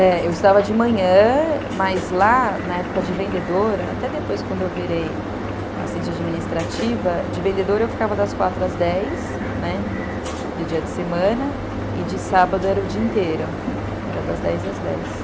É, eu estudava de manhã, mas lá, na época de vendedora, até depois quando eu virei assistente administrativa, de vendedora eu ficava das quatro às dez, né, de dia de semana, e de sábado era o dia inteiro, era das dez às dez.